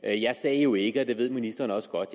jeg sagde jo ikke og det ved ministeren også godt